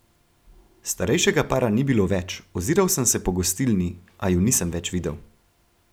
Starejšega para ni bilo več, oziral sem se po gostilni, a ju nisem več videl.